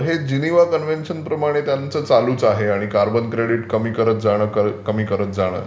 हे Geneva convention प्रमाणे त्यांचं चालूच आहे आणि कार्बन क्रेडिट कमी करत जाणं कमी करत जाणं.